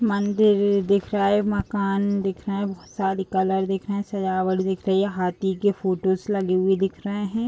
मंदिर दिख रहा है मकान दिख रहा है। बहुत सारी कलर दिख रहें हैं। सजावट दिख रही है। हाथी के फोटोज लगे हुए दिख रहें हैं।